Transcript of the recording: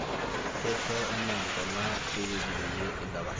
keisho enaa ntona ewueji peyie eidapasha